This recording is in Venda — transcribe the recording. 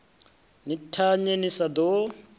ni thanye ni sa ḓo